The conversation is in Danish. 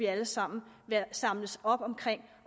alle sammen samles om